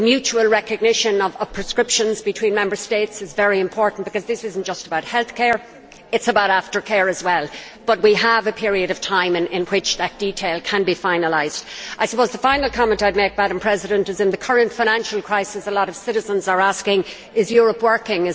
I think the mutual recognition of prescriptions between Member States is very important because this is not just about healthcare, it is about after care as well, but we have a period of time in which that detail can be finalised. I suppose the final comment I would make is that, in the current financial crisis, a lot of citizens are asking is Europe working?